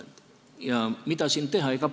Ja mida siin teha?